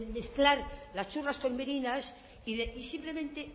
menear de mezclar las churras con merinas y simplemente